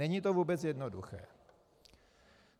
Není to vůbec jednoduché.